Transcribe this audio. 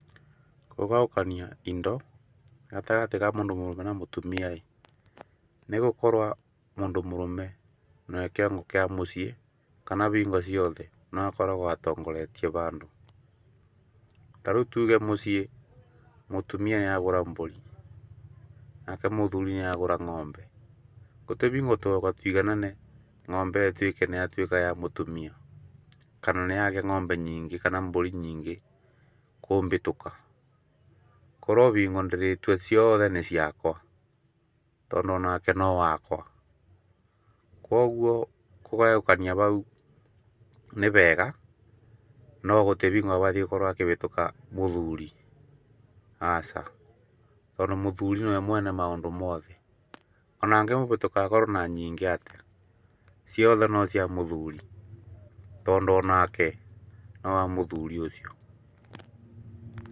Kũgayũkania indo gatagatĩ ka mũndu mũrume na mũtumia ĩ nĩ gũkorwo mũndũ mũrũme nĩwe kĩongo kĩa mũciĩ kana bingo ciothe nĩwe akoragwo atongoretie bandũ. Tarĩu tuge mũciĩ mũtumia nĩ agura mbũri nake mũthuri nĩ agura ng'ombe gũbatiĩ gũtoba tũiganane ng'ombe ĩyo ĩtuĩke nĩ yatuĩka ya mũtumia kana nĩ yagĩa ng'ombe nyingĩ kana mbũri nyingĩ kũmbĩtũka. Kũrĩ bingo ndĩrĩtua ciothe nĩ ciakwa tondũ onake no wakwa. Koguo kũgayũkania bau nĩ bega. No gũtirĩga gũthiĩ akabĩtũka mũthuri aca tondũ muthuri nĩwe mwene maũndũ mothe, ona angĩmũbĩtũka akorwo na nyingĩ atĩa ciothe no cia mũthuri tondũ oanake no wa muthuri ũcio.